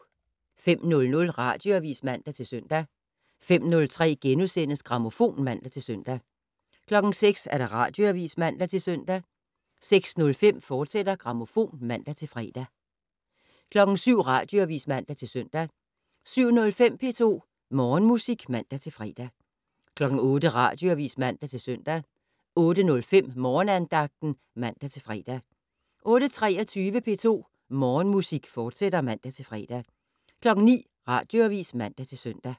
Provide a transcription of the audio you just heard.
05:00: Radioavis (man-søn) 05:03: Grammofon *(man-søn) 06:00: Radioavis (man-søn) 06:05: Grammofon, fortsat (man-fre) 07:00: Radioavis (man-søn) 07:05: P2 Morgenmusik (man-fre) 08:00: Radioavis (man-søn) 08:05: Morgenandagten (man-fre) 08:23: P2 Morgenmusik, fortsat (man-fre) 09:00: Radioavis (man-søn)